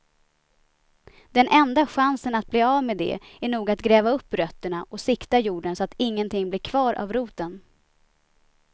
Den enda chansen att bli av med det är nog att gräva upp rötterna och sikta jorden så att ingenting blir kvar av roten.